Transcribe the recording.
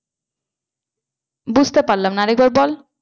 বুঝতে পারলাম না আর একবার বল।